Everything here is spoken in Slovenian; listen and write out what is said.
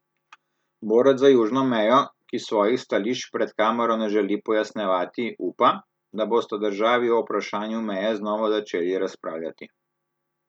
Borec za južno mejo, ki svojih stališč pred kamero ne želi pojasnjevati, upa, da bosta državi o vprašanju meje znova začeli razpravljati.